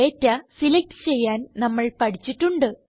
data select ചെയ്യാൻ നമ്മൾ പഠിച്ചിട്ടുണ്ട്